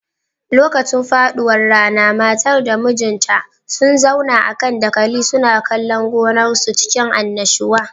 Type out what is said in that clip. Lokacin faduwar rana matar da mijinta sun zauna a kan dakali suna kallon gonar su cikin annashuwa